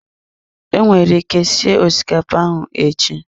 I nwere ike sie osikapa ahụ echi.